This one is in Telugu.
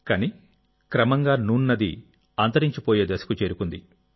కానీక్రమంగా నూన్ నది అంతరించిపోయే దశకు చేరుకుంది